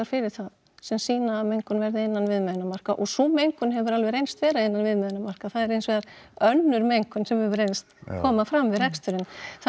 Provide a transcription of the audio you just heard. fyrir það sem sýna að mengun verði innan viðmiðunnarmarka og sú mengun hefur alveg reynst vera innan viðmiðunnarmarka það er hins vegar önnur mengun sem hefur verið að koma fram við reksturinn